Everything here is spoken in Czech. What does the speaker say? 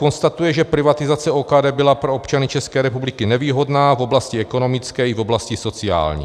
Konstatuje, že privatizace OKD byla pro občany České republiky nevýhodná v oblasti ekonomické i v oblasti sociální.